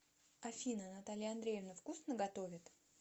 афина наталья андреевна вкусно готовит